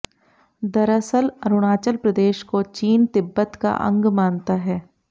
दरअसल अरुणाचल प्रदेश को चीन तिब्बत का अंग मानता है